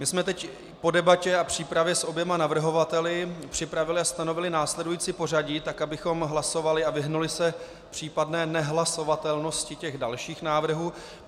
My jsme teď po debatě a přípravě s oběma navrhovateli připravili a stanovili následující pořadí tak, abychom hlasovali a vyhnuli se případné nehlasovatelnosti těch dalších návrhů.